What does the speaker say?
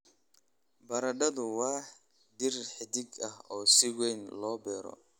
Baradhadu waa dhir xidid ah oo si weyn loo beero.